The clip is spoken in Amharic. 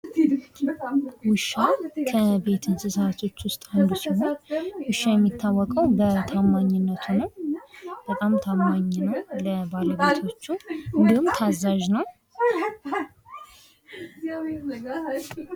ውሻ ከቤት እንስሳዎች ውስጥ አንዱ ሲሆን የሚታወቀውም በታማኝነቱ ነው። በጣም ታማኝ ነው ለባለቤቱቹ እንዲሁም ታዛዥ ነው።